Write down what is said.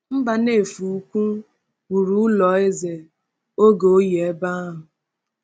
“Mbanefo Ukwu” wuru ụlọ eze oge oyi ebe ahụ.